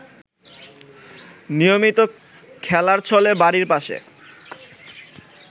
নিয়মিত খেলার ছলে বাড়ির পাশে